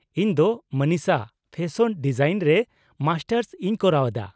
ᱤᱧ ᱫᱚ ᱢᱚᱱᱤᱥᱟ, ᱯᱷᱮᱥᱚᱱ ᱰᱤᱡᱟᱭᱤᱱ ᱨᱮ ᱢᱟᱥᱴᱟᱨᱥ ᱤᱧ ᱠᱚᱨᱟᱣ ᱮᱫᱟ ᱾